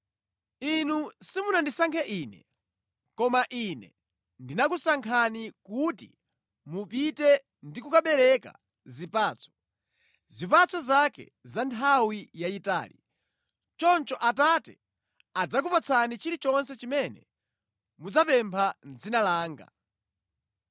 Inu simunandisankhe Ine, koma Ine ndinakusankhani kuti mupite ndi kukabereka zipatso, zipatso zake za nthawi yayitali. Choncho Atate adzakupatsani chilichonse chimene mudzapempha mʼdzina langa.